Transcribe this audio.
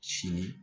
Sini